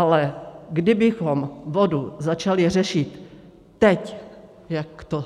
Ale kdybychom vodu začali řešit teď, jak to